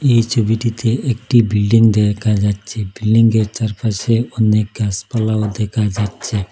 এই ছবিটিতে একটি বিল্ডিং দেখা যাচ্ছে বিল্ডিংগের চারপাশে অনেক গাছপালাও দেখা যাচ্ছে।